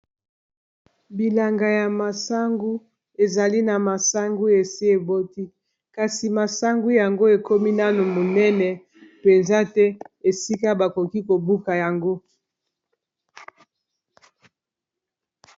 Bilanga ya masangu ezali na masangu esi eboti kasi masangu yango ekomi nano monene mpenza te esika bakoki kobuka yango.